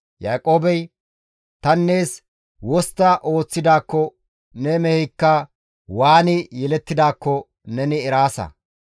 Yaaqoobey, «Tani nees wostta ooththidaakko ne meheykka waani yelettidaakko neni eraasa.